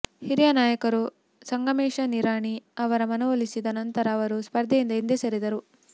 ಹಿರಿಯ ನಾಯಕರು ಸಂಗಮೇಶ ನಿರಾಣಿ ಅವರ ಮನವೊಲಿಸಿದ ನಂತರ ಅವರು ಸ್ಪರ್ಧೆಯಿಂದ ಹಿಂದೆ ಸರಿದರು